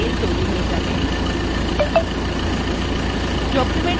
একটি PDF file তৈরি হয়ে যাবে